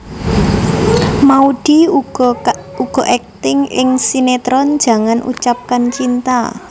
Maudy uga akting ing sinetron Jangan Ucapkan Cinta